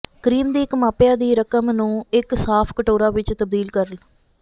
cream ਦੀ ਇੱਕ ਮਾਪਿਆ ਦੀ ਰਕਮ ਨੂੰ ਇੱਕ ਸਾਫ਼ ਕਟੋਰਾ ਵਿੱਚ ਤਬਦੀਲ ਕਰਨ